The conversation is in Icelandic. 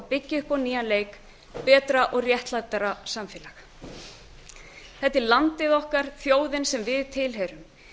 byggja upp á nýjan leik betra og réttlátara samfélag þetta er landið okkar þjóðin sem við tilheyrum